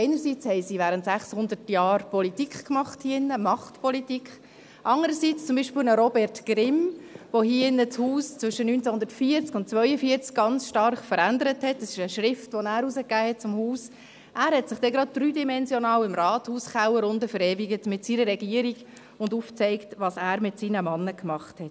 Einerseits hatten sie während 600 Jahren Politik gemacht hier drin, Machtpolitik, andererseits verewigte zum Beispiel ein Robert Grimm, der das Haus hier drin zwischen 1940 und 1942 ganz stark veränderte, sich gleich dreidimensional im Rathauskeller unten verewigt, mit seiner Regierung, wobei er aufzeigt hat, was er mit seinen Männern gemacht hat.